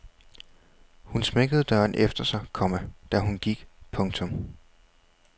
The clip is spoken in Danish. Hun smækkede døren efter sig, komma da hun gik. punktum